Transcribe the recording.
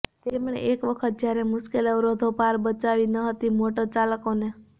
તેમણે એક વખત જ્યારે મુશ્કેલ અવરોધો પાર બચાવી ન હતી મોટરચાલકોને